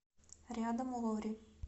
рядом лори